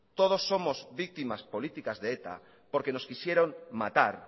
todos somos víctimas políticas de eta porque nos quisieron matar